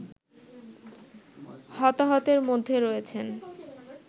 হতাহতের মধ্যে রয়েছেন